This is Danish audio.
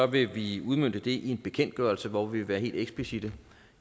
vil vi udmønte det i en bekendtgørelse hvor vi vil være helt eksplicitte